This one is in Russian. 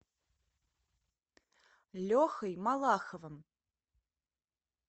лехой малаховым